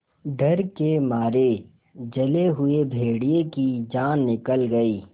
डर के मारे जले हुए भेड़िए की जान निकल गई